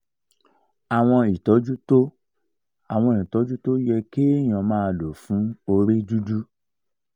àwọn ìtọ́jú tó àwọn ìtọ́jú tó yẹ kéèyàn máa lò fún orí dúdú